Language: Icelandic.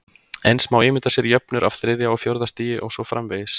Eins má ímynda sér jöfnur af þriðja og fjórða stigi og svo framvegis.